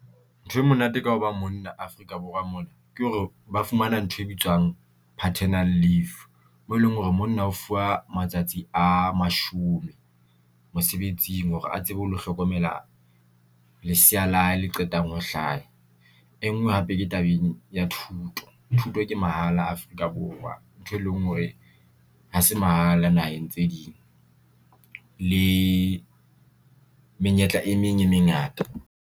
Ntho e monate ka hoba monna Africa Borwa mona ke hore ba fumana ntho e bitswang paternal leave mo eleng hore monna o fuwa matsatsi a mashome mosebetsing hore a tsebe hore le hlokomela lesea la hae le qetang ho hlaya. E ngwe hape ke tabeng ya thuto. Thuto ke mahala Afrika Borwa ntho e leng hore ha se mahala naheng tse ding le menyetla e meng e mengata.